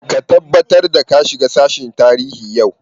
Ka tabbatar da ka shiga sashen tarihi yau!